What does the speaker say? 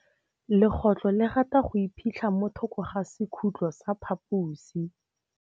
Legôtlô le rata go iphitlha mo thokô ga sekhutlo sa phaposi.